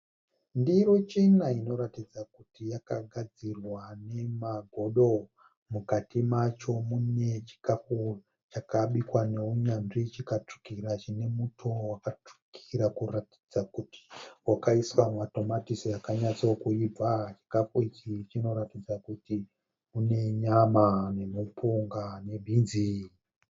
Ndiro chena inoratidza kuti yakagadzirwa nemagodo. Mukati macho munechikafu chakabikwa nounyanzvi chikatsvukira chinemuto wakatsvukira kuratidza kuti wakaiswa matomatisi akanyatsokuibva. Chikafu ichi chinoratidza kuti munenyama nemupunga nebhinzi.